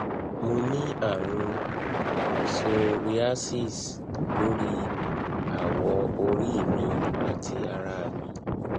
mo ní àrùn psoriasis lórí awọ orí mi àti ara mi